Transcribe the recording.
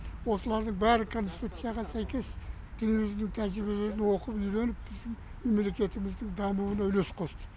осылардың бәрі конституцияға сәйкес дүниежүзінің тәжірибелерін оқып үйреніп біздің мемлекетіміздің дамуына үлес қосты